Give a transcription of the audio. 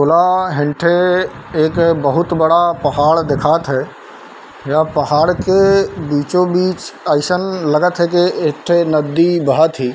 भुला हेंठे एक बहुत बड़ा पहाड़ देखात है यह पहाड़ के बीचो -बिच अइसन लगत है के एक ठे नदी बहत हे।